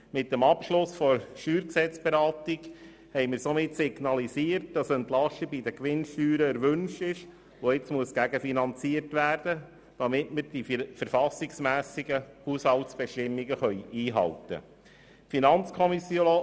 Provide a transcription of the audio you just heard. Mit dem Abschluss der Beratung des Steuergesetzes (StG) haben wir somit signalisiert, dass eine Entlastung bei der Gewinnsteuer erwünscht ist, welche gegenfinanziert werden muss, damit wir die verfassungsmässigen Haushaltsbestimmungen einhalten können.